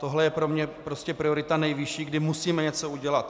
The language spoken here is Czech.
Tohle je pro mě prostě priorita nejvyšší, kdy musíme něco udělat.